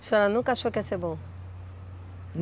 A senhora nunca achou que ia ser bom?